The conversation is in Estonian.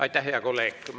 Aitäh, hea kolleeg!